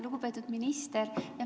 Lugupeetud minister!